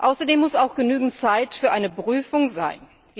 Außerdem muss auch genügend Zeit für eine Prüfung sein.